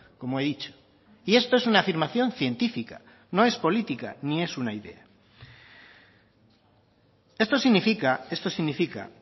como he dicho y esto es una afirmación científica no es política ni es una idea esto significa esto significa